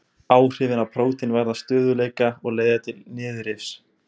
Áhrifin á prótein varða stöðugleika og leiða til niðurrifs.